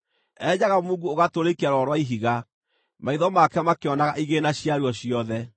Enjaga mungu ũgatũrĩkia rwaro rwa ihiga; maitho make makĩonaga igĩĩna ciaruo ciothe.